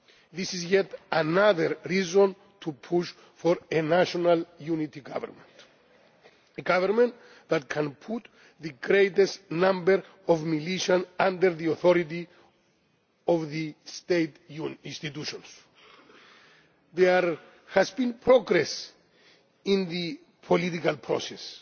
This is yet another reason to push for a national unity government a government that can put the greatest number of militias under the authority of the state institutions. There has been progress in the political process.